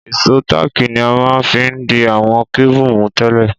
Ìsó tààkì ni a ma n fi di àwon cable mú tẹ́lẹ̀